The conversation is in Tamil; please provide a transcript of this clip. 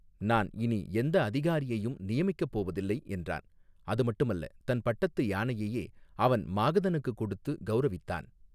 நான், இனி எந்த அதிகாரியையும், நியமிக்கப் போவதில்லை, என்றான், அது மட்டுமல்ல, தன் பட்டத்து யானையையே, அவன் மாகதனுக்கு கொடுத்து, கௌரவித்தான்.